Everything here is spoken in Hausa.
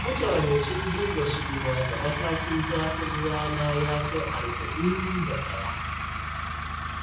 Mutane sun dinga suma da matakin zafin rana ya kai arba'in da ɗaya.